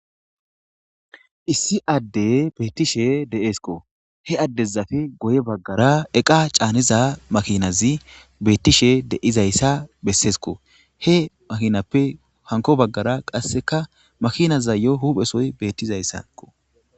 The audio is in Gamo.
issi adde beettishe de7eeskko he addezafe goye baggara eqa caaniza makinazi beettishe deizayssa besseesko he makinappe hanko baggara qasseka makinaza yo huphesoy beettizayssakko